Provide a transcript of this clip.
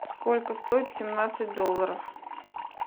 сколько стоит семнадцать долларов